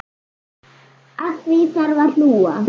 Að því þarf að hlúa.